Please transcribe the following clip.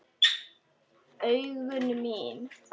Augu mín.